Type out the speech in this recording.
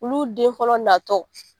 Olu den fɔlɔ natɔ.